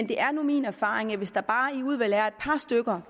det er nu min erfaring at hvis der bare er et par stykker